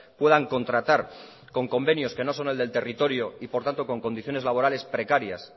puedan contratar con convenios que no son el del territorio y por tanto con condiciones laborales precarias